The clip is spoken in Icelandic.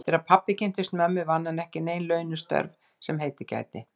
Eftir að pabbi kynntist mömmu vann hann ekki nein launuð störf sem heitið gæti.